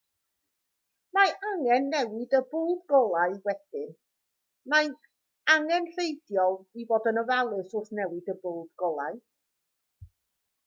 mae angen newid y bwlb golau wedyn mae'n angenrheidiol i fod yn ofalus wrth newid y bwlb golau